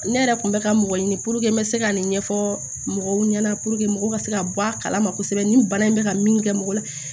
Ne yɛrɛ kun bɛ ka mɔgɔ ɲini n bɛ se ka nin ɲɛfɔ mɔgɔw ɲɛna mɔgɔw ka se ka bɔ a kala ma kosɛbɛ ni bana in bɛ ka min kɛ mɔgɔ la